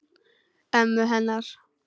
Ömmu hennar.